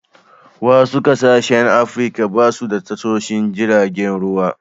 Wasu ƙasashen Afrika ba su da tashoshon giragen ruwa.